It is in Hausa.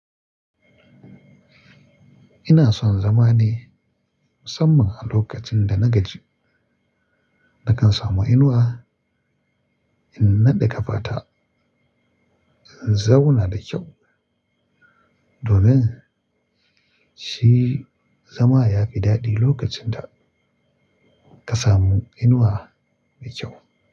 Ina son zama ne musamman a lokacin da na gaji, na kan samu inuwa, in naɗe ƙafata, in zauna da kyau. Domin shi zama ya fi daɗi lokacin da ka samu inuwa mai kyau.